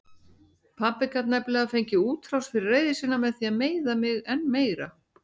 Pabbi gat nefnilega fengið útrás fyrir reiði sína með því að meiða mig enn meira.